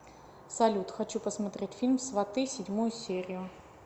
салют хочу посмотреть фильм сваты седьмую серию